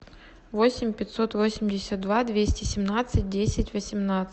восемь пятьсот восемьдесят два двести семнадцать десять восемнадцать